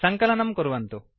सङ्कलनम् कुर्वन्तु